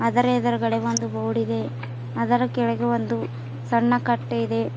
ಆದರೆ ಎದುರುಗಡೆ ಒಂದು ಬೋರ್ಡಿದೆ ಅದರ ಕೆಳಗೆ ಒಂದು ಸಣ್ಣ ಕಟ್ಟೆ ಇದೆ.